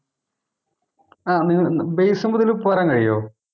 ആഹ് Base ഉം കൂടെ ഒന്ന് പറയാൻ കഴിയുവോ